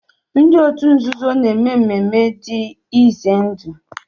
Ndị òtù nzuzo na-èmè mmemmé dị ize ndụ